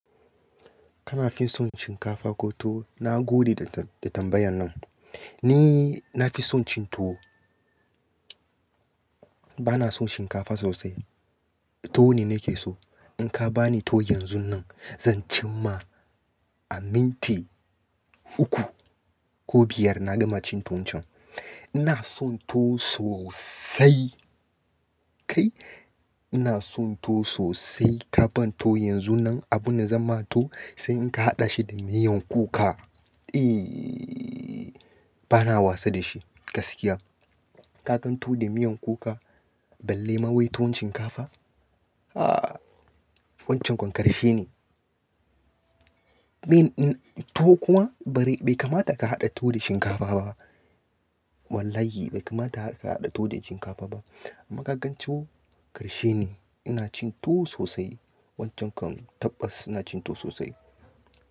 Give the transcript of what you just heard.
Kana fin son shinkafa ko tuwo? Na gode da, da tambayan nan. Ni na fi son cin tuwo. Ba na son shinkafa sosai. To ne nake so. In ka ba ni to yanzun nan, zan cim ma a minti uku ko biyar na gama cin tuwon can. Ina son to sosai. Kai, ina son to sosai. Ka ban to yanzu nan. Abin da zama to, sai in ka haɗa shi da miyan kuka. Ehhh, ba na wasa da shi gaskiya. Kakan to da miyan kuka, balle ma wai tuwon shinkafa. Ahhh, wancan kon karfi ne. Tuwo kuma bari, bai kamata ka haɗa tuwo da shinkafa ba. Wallahi bai kamata ka haɗa to da shinkafa ba. Amma kagan tuwo ƙarshe ne ina cin tuwo sosai. Wancan kam tabbas ina cin tuwo sosai.